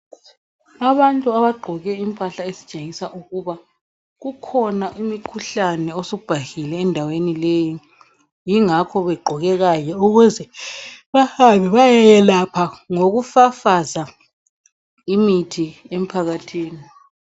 Abantu abagqoke impahla ezitshengisa ukuba kukhona umkhuhlane osubhahile endaweni leyi yingakho begqoke kanje ukuze behambe beye yelapha ngokufafaza imithi emphakathini.